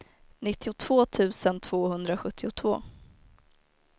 nittiotvå tusen tvåhundrasjuttiotvå